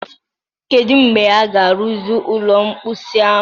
Kedu mgbe a ga-arụzi ụlọ mposi ahụ?